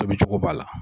Tobicogo b'a la